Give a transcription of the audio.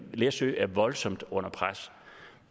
læsø er voldsomt under pres